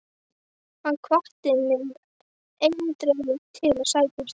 Hann hvatti mig eindregið til að sækja um starfið.